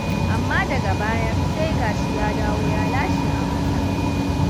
Amma daga baya sai ga shi ya dawo ya lashe amansa.